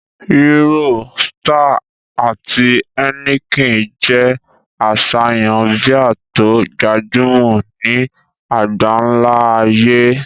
Hero, Star, àti Heineken jẹ́ àṣàyàn bíà tó gbajúmọ̀ ní àgbáńlá ayé